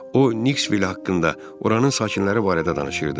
O, Nikkvil haqqında, oranin sakinləri barədə danışırdı.